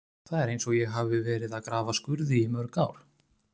Það er eins og ég hafi verið að grafa skurði í mörg ár.